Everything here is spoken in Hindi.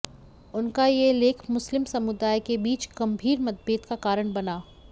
उनका यह लेख मुस्लिम समुदाय के बीच गंभीर मतभेद का कारण बना